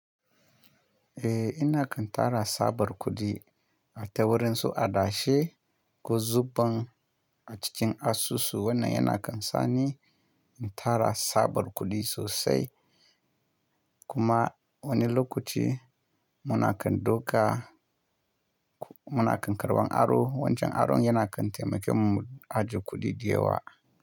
Eh, ina kan tara tsabar kuɗi ata wurin su adashe ko zuban a cikin asusu. Wannan yana kan sani in tara tsabar kuɗi sosai. Kuma wani lokaci muna kan doka, muna kan karban aro. Wancan aron yana kan taimaken mu a ji kuɗi diyewa.